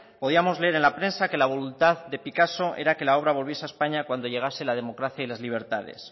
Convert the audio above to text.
podíamos leer en la prensa que la voluntad de picasso era que la obra volviese a españa cuando llegase la democracia y las libertades